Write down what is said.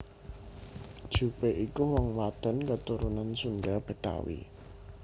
Jupe iku wong wadon keturunan Sunda Betawi